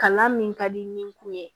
Kalan min ka di nin kun ye